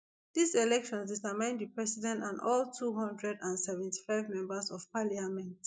these elections determine the president and all two hundred and seventy-five members of parliament